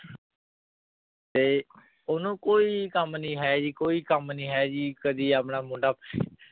ਤੇ ਓਨੁ ਕੋਈ ਕਾਮ ਨਾਈ ਹੈ ਜੀ ਕੋਈ ਕਾਮ ਨਾਈ ਹੈ ਜੀ ਕਦੀ ਆਪਣਾ ਮੁੰਡਾ